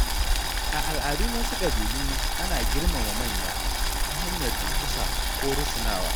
A al’adun wasu ƙabilu, ana girmama manya ta hanyar durƙusa ko rusunawa.